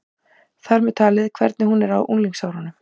Þar með talið hvernig hún er á unglingsárunum.